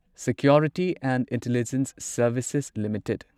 security and intelligence services limited